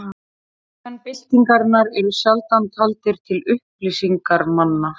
Framámenn byltingarinnar eru sjaldan taldir til upplýsingarmanna.